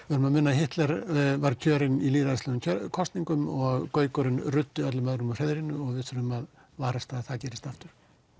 muna að Hitler var kjörinn í lýðræðislegum kosningum og gaukurinn ruddi öllum öðrum úr hreiðrinu og við verðum að varast að það gerist aftur